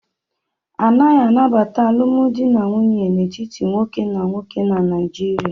Anaghị anabata alụmdi na nwunye n'etiti nwoke na nwoke na Naịjịrịa.